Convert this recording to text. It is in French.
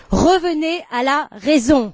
Revenez à la raison!